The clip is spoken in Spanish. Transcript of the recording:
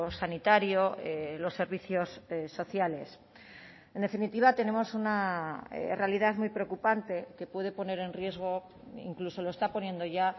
sanitario los servicios sociales en definitiva tenemos una realidad muy preocupante que puede poner en riesgo incluso lo está poniendo ya